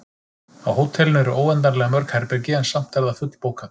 Á hótelinu eru óendanlega mörg herbergi, en samt er það fullbókað.